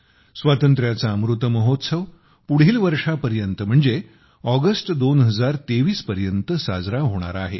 स्वातंत्र्याचा अमृतमहोत्सव पुढील वर्षापर्यंत म्हणजे ऑगस्ट 2023 पर्यंत साजरा होणार आहे